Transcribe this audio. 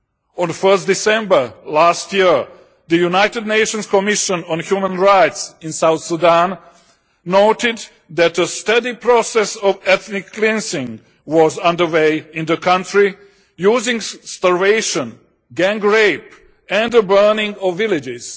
On 1 December last year, the United Nations Commission on Human Rights in South Sudan noted that a steady process of ethnic cleansing was underway in the country, using starvation, gang rape and the burning of villages.